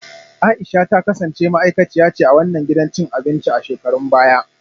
A’isha ta kasance ma’aikaciya ce a wannan gidan cin abinci a shekarun baya